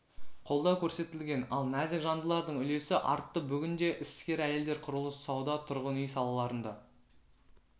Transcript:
қолдау көрсетілген ал нәзік жандылардың үлесі артты бүгінде іскер әйелдер құрылыс сауда тұрғын үй салаларында